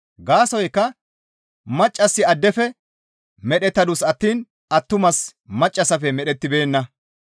Gaasoykka maccassi addefe medhettadus attiin attumasi maccassafe medhettibeenna.